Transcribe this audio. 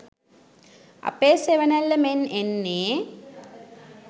අපේ සෙවනැල්ල මෙන් එන්නේ